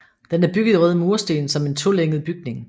Den er bygget i røde mursten som en tolænget bygning